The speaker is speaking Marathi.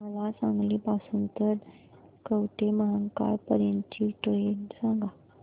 मला सांगली पासून तर कवठेमहांकाळ पर्यंत ची ट्रेन सांगा